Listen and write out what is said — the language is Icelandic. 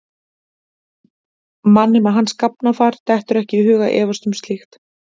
Manni með hans gáfnafar dettur ekki í hug að efast um slíkt.